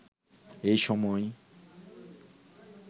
এই সময়